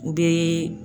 U bɛ